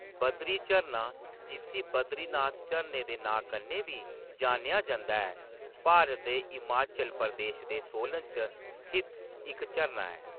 बद्री झरना, जिस्सी बद्रीनाथ झरने दे नांऽ कन्नै बी जानेआ जंदा ऐ, भारत दे हिमाचल प्रदेश दे सोलन च स्थित इक झरना ऐ।